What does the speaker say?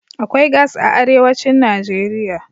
Akwai gas a arewacin Najeriya.